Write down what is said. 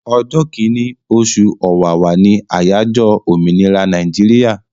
Ọjọ́ kìíní, oṣù Ọ̀wàwà ni àyájọ́ òmìnira Nàíjíríà.